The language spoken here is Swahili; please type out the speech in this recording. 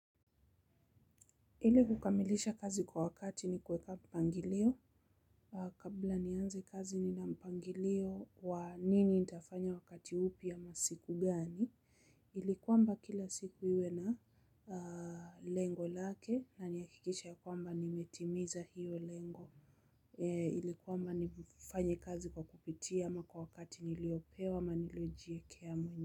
Ili kukamilisha kazi kwa wakati ni kuweka mpangilio kabla nianze kazi nina mpangilio wa nini nitafanya wakati upi ya masiku gani ili kwamba kila siku iwe na lengo lake na nihakikishe ya kwamba nimetimiza hiyo lengo ili kwamba nifanye kazi kwa kupitia ama kwa wakati niliopewa ama nilojiwekea mwenyewe.